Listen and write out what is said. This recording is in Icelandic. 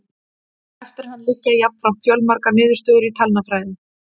Eftir hann liggja jafnframt fjölmargar niðurstöður í talnafræði.